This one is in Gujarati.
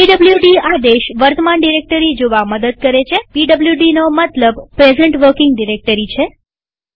પીડબ્લુડી આદેશ વર્તમાન ડિરેક્ટરી જોવા મદદ કરે છેpwd નો મતલબ પ્રેઝન્ટ વર્કિંગ ડિરેક્ટરી છે